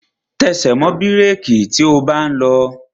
Tẹsẹ̀ mọ́ bírèki tí o bá ń lọ!